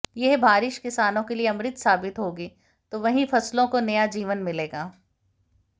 यह बारिश किसानों के लिए अमृत साबित होगी तो वहीं फसलों को नया जीवन मिलेगा